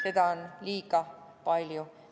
Seda on liiga palju.